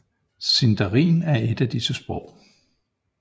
Sindarin er et af disse sprog